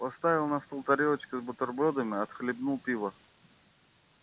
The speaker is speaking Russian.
поставил на стол тарелочку с бутербродами отхлебнул пива